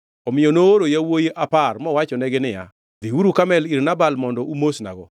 Omiyo nooro yawuowi apar mowachonegi niya, “Dhiuru Karmel ir Nabal mondo umosnago.